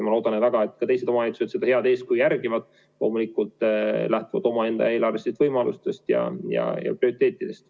Ma loodan väga, et teised omavalitsused seda head eeskuju järgivad, loomulikult lähtuvalt oma eelarvelistest võimalustest ja prioriteetidest.